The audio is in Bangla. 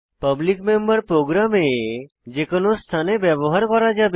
পাবলিক মেম্বার প্রোগ্রামে যে কোনো স্থানে ব্যবহার করা যাবে